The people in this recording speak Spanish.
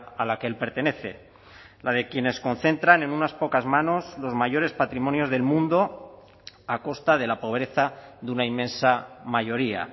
a la que el pertenece la de quienes concentran en unas pocas manos los mayores patrimonios del mundo a costa de la pobreza de una inmensa mayoría